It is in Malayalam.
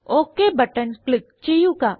ഒക് ബട്ടൺ ക്ലിക്ക് ചെയ്യുക